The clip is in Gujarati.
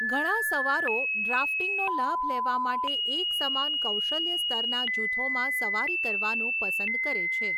ઘણા સવારો ડ્રાફ્ટિંગનો લાભ લેવા માટે એકસમાન કૌશલ્ય સ્તરના જૂથોમાં સવારી કરવાનું પસંદ કરે છે.